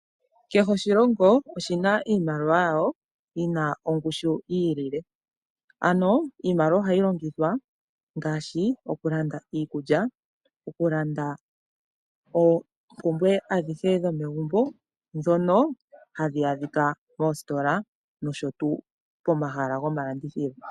Kehe oshilongo oshina iimaliwa yasho yi na ongushu yi ilile, ano iimaliwa ohayi longithwa ngaashi oku landa iikulya, oku landa oompumbwe adhihe dhomegumbo ndhono hadhi adhika moositola nosho tuu pomahala gomalandithilo.